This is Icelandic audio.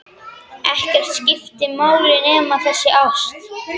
Ekkert skipti máli nema þessi ást.